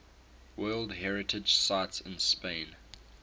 world heritage sites in spain